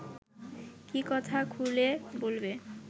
কী কথা খুলে বলবে